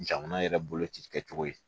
Jamana yɛrɛ bolo ci kɛcogo ye